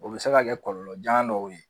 O bɛ se ka kɛ kɔlɔlɔjan dɔw ye